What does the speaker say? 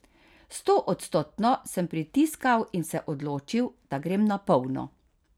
Stoodstotno sem pritiskal in se odločil, da grem na polno.